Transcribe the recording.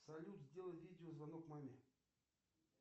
салют сделай видеозвонок маме